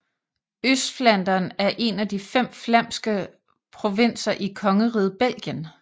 Østflandern er en af de fem flamske provinser i kongeriget Belgien